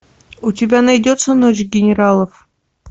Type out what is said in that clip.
у тебя найдется ночь генералов